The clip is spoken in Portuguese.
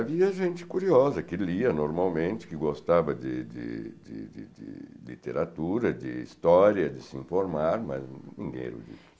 Havia gente curiosa, que lia normalmente, que gostava de de de de de de literatura, de história, de se informar, mas ninguém erudito.